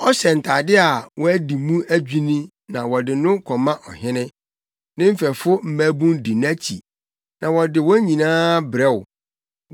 Ɔhyɛ ntade a wɔadi mu adwinni na wɔde no kɔma ɔhene; ne mfɛfo mmabun di nʼakyi na wɔde wɔn nyinaa brɛ wo.